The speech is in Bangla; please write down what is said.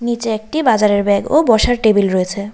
নীচে একটি বাজারের ব্যাগ ও বসার টেবিল রয়েছে।